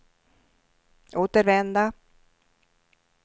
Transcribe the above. återvända